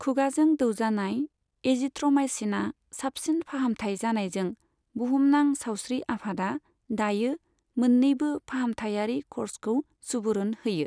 खुगाजों दौजानाय एजिथ्र'माइसिना साबसिन फाहामथाइ जानायजों बुहुमनां सावस्रि आफादआ दायो मोननैबो फाहामथायारि क'र्सखौ सुबुरुन होयो।